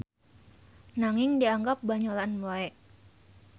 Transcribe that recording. Nanging dianggap banyolan we.